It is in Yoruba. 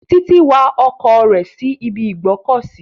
Titilayo wa ọkọ̀ rẹ̀ síbi ìgbọ́kọ̀sí.